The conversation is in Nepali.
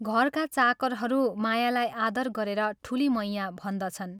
घरका चाकरहरू मायालाई आदर गरेर ठूली मैयाँ भन्दछन्।